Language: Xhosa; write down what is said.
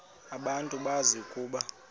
abantu bazi ukuba